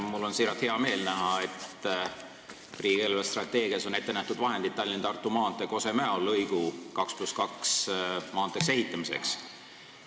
Mul on siiralt hea meel, et riigi eelarvestrateegias on ette nähtud vahendid Tallinna–Tartu maantee Kose–Mäo lõigu 2 + 2 rajaga maanteeks ehitamiseks.